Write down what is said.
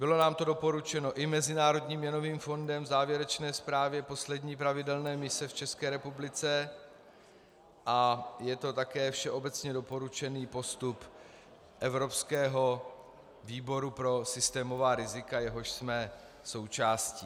Bylo nám to doporučeno i Mezinárodním měnovým fondem v závěrečné zprávě poslední pravidelné mise v České republice a je to také všeobecně doporučený postup Evropského výboru pro systémová rizika, jehož jsme součástí.